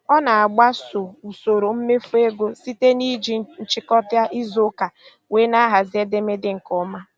Ọ na-agbaso usoro mmefu ego site na iji nchịkọta izu ụka wee na-ahazi edemede nke ọma.